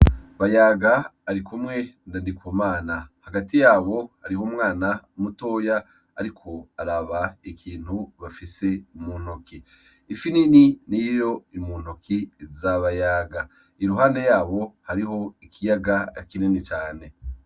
Bayaga ari kumwe ndandikumana hagati yabo hariho umwana mutoya, ariko araba ikintu bafise umuntoki ifiinini niroiro imuntoki zabayaga iruhande yabo hariho ikiyaga akineni cane.